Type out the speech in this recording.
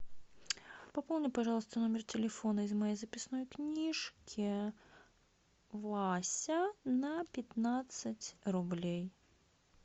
пополни пожалуйста номер телефона из моей записной книжки вася на пятнадцать рублей